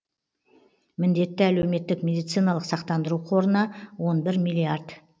міндетті әлеуметтік медициналық сақтандыру қорына он бір миллиард